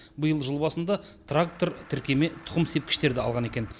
биыл жыл басында трактор тіркеме тұқым сепкіштерді алған екен